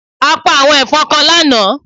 A pa àwọn èfọn kan lánàá